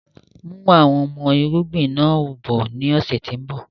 Mú àwọn ọmọ irúgbìn náà bọ ni ọ̀sẹ̀ tòun bọ̀